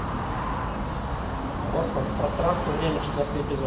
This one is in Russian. космос пространство и время четвертый эпизод